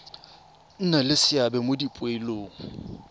nna le seabe mo dipoelong